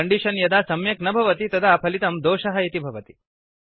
condition यदा सम्यक् न भवति तदा फलितं दोषः इति भवति